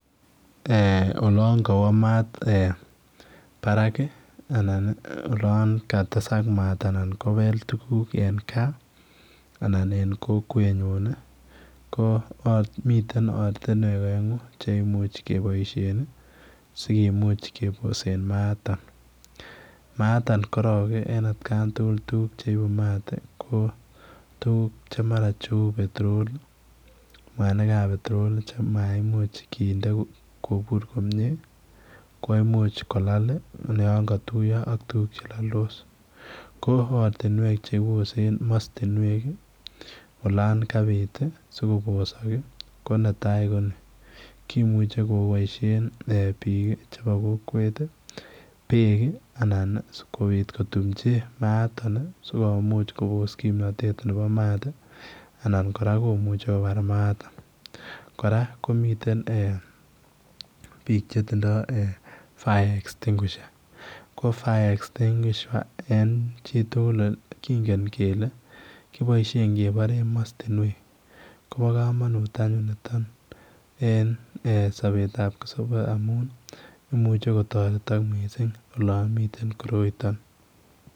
Eeh olaan kawoo maat Barak ii anan eeh anan ko olaan katesaak maat anan ko beel tuguuk en gaah anan kokwet nyuun ii ko miten ortinweek aenguu che imuuch kebaisheen ii sikomuuch keboseen maat nitoon maat atoonn korong en at kaan tugul tuguuk che ibuu mat ii ko tuguuk che mara ko [petroleum] Anna ko mwanig ab petrol che maimuuch kinde kobuur komyei koimuuch kolaal ii olaan katuyaa ak tuguuk che laldos ko ortinweek chebosen mastinweek olaan kabiit ii ko netai ko nii kimuchei kebaisheen eh biik chebo kokwet ii beek anan ii sikobiit kotumjii maatoon ii sikomuuch kobos kimnatet nebo maat ii anan kora komuchei kobaar maatoon kora komiteen biik che tindoi eeh [fires extinguisher] ko [fire extinguisher] en chii tugul kingen kele kiboisien kebareen mastinweek kobaa kamanuut anyuun nitoon en sabeet ab kipkosabe amuun imuuchei kotaretaak missing olaan miten koroitaan.